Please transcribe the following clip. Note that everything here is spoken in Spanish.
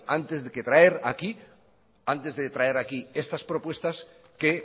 antes de traer aquí estas propuestas que